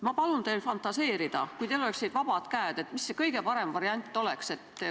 Ma palun teil fantaseerida, et kui teil oleksid vabad käed, siis mis oleks teie meelest kõige parem variant.